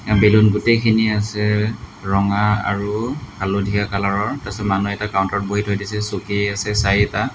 balloon গোটেইখিনি আছে ৰঙা আৰু হালধীয়া কালাৰ ৰ তাচত মানুহ এটা কাউণ্টাৰ ত বহি থৈ দিছে চকী আছে চাৰিটা